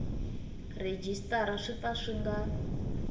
rhejisitara swi pfa swi nga